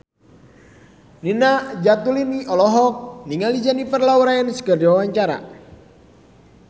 Nina Zatulini olohok ningali Jennifer Lawrence keur diwawancara